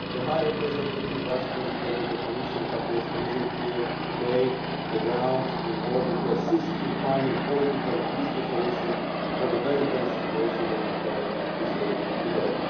The High Representative Vice President of the Commission Cathy Ashton is in Kiev today, on the ground, in order to assist in finding political and peaceful solutions to the very tense situation that Ukraine is living through